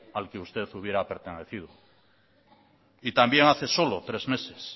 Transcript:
al que usted hubiera pertenecido y también hace solo tres meses